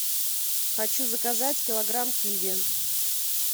хочу заказать килограмм киви